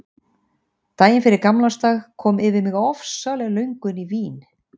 Daginn fyrir gamlársdag kom yfir mig ofsaleg löngun í vín.